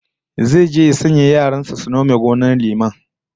Zai je ya sanya yaran su nome gonar liman